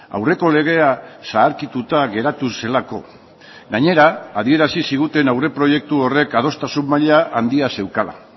aurreko legea zaharkituta geratu zelako gainera adierazi ziguten aurreproiektu horrek adostasun maila handia zeukala